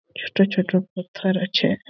ছোট ছোট পাথথর আছে --